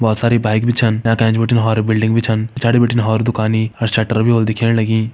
भौत सारी बाइक भी छन टाँका एैंच बटिन हौरी बिल्डिंग भी छन पिछाड़ी बटिन हौर दुकानी हर शटर भी होल दिखेण लगी।